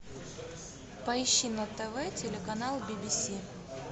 поищи на тв телеканал би би си